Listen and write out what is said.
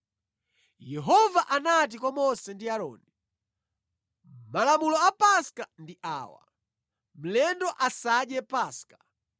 Yehova anati kwa Mose ndi Aaroni, “Malamulo a Paska ndi awa: “Mlendo asadye Paska.